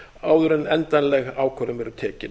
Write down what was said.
áður en endanleg ákvörðun verður tekin